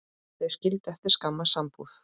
Þau skildu eftir skamma sambúð.